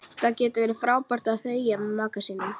Það getur verið frábært að þegja með maka sínum.